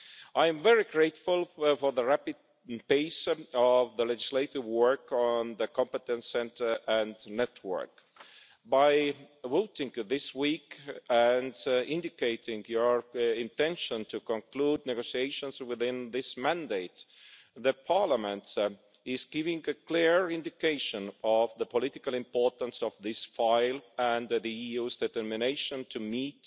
I am very grateful for the rapid pace of the legislative work on the Competence Centre and Network. By voting this week, and indicating your intention to conclude negotiations within this mandate, Parliament is giving a clear indication of the political importance of this file and the EU's determination to meet